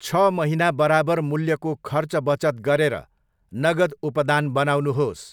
छ महिना बराबर मूल्यको खर्च बचत गरेर नगद उपदान बनाउनुहोस्।